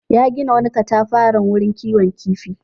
Ya gina wani katafaren wurin kiwon kifi.